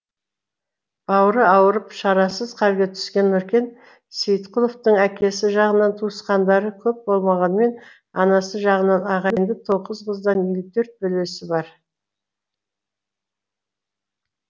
бауыры ауырып шарасыз халге түскен нүркен сейітқұловтың әкесі жағынан туысқандары көп болмағанымен анасы жағынан ағайынды тоғыз қыздан елу төрт бөлесі бар